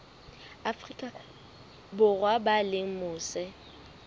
afrika borwa ba leng mose